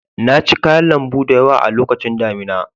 Na ci kayan lambu da yawa a lokacin damina.